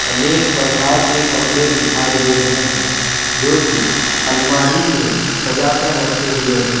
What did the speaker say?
अनेक प्रकार के कपड़े दिखाई दे रहे हैं जोकि अलमारी में सजा कर रखे हुए हैं।